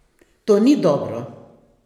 To ni dobro!